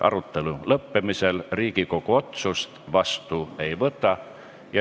Arutelu lõppemisel Riigikogu otsust vastu ei võta.